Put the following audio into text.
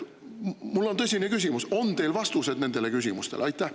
Mul on tõsine küsimus: on teil vastused nendele küsimustele?